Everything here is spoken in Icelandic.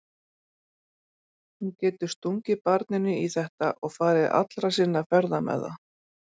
Hún getur stungið barninu í þetta og farið allra sinna ferða með það.